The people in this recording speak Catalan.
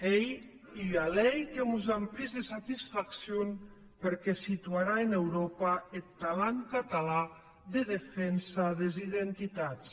ei ua lei que mos aumplic de satisfaccion perque situarà en euròpa eth talent catalan de defensa des identitats